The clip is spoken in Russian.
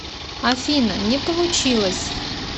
афина не получилось